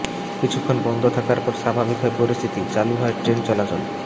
কিছুক্ষণ বন্ধ থাকার পর স্বাভাবিক হয় পরিস্থিতি শুরু হয় ট্রেন চলাচল